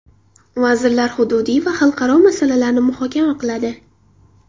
Vazirlar hududiy va xalqaro masalalarni muhokama qiladi.